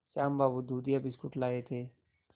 श्याम बाबू दूधिया बिस्कुट लाए थे